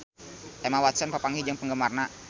Emma Watson papanggih jeung penggemarna